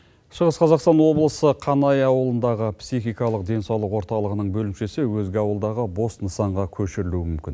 шығыс қазақстан облысы қанай ауылындағы психикалық денсаулық орталығының бөлімшесі өзге ауылдағы бос нысанға көшірілуі мүмкін